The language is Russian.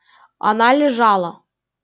она лежала